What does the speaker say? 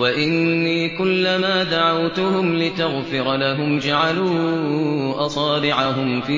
وَإِنِّي كُلَّمَا دَعَوْتُهُمْ لِتَغْفِرَ لَهُمْ جَعَلُوا أَصَابِعَهُمْ فِي